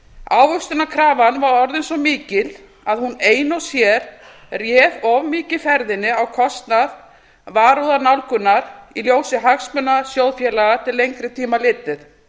ávöxtunarkrafan var orðin svo mikil að hún ein og sér réð of mikið ferðinni á kostnað varúðarnálgunar í ljósi hagsmuna sjóðfélaga til lengri tíma litið